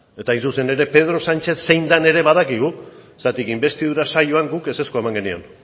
eta hain zuzen ere pedro sánchez zein den ere badakigu zergatik inbestidura saioan guk ezezkoa eman genion